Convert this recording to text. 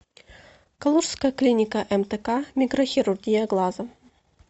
калужская клиника мтк микрохирургия глаза